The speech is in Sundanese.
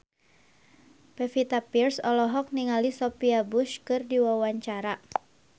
Pevita Pearce olohok ningali Sophia Bush keur diwawancara